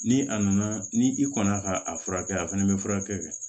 Ni a nana ni i kɔnna ka a furakɛ a fɛnɛ bɛ furakɛ